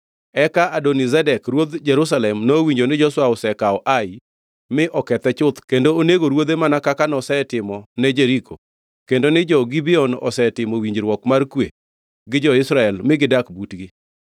Eka Adoni-Zedek ruodh Jerusalem nowinjo ni Joshua osekawo Ai mi okethe chuth kendo onego ruodhe mana kaka nosetimone Jeriko kendo ni jo-Gibeon osetimo winjruok mar kwe gi jo-Israel mi gidak butgi.